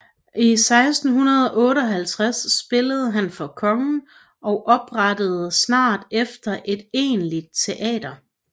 I 1658 spillede han for kongen og oprettede snart efter et egentligt teater